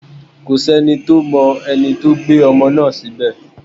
Kò sí ẹni tó mọ ẹni tó gbé ọmọ náà síbẹ̀